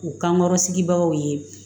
U kankɔrɔ sigibagaw ye